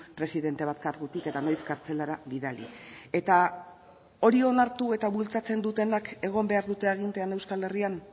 presidente bat kargutik eta noiz kartzelara bidali eta hori onartu eta bultzatzen dutenak egon behar dute agintean euskal herrian